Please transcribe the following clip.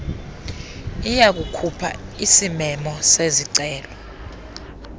iyakukhupha isimemo sezicelo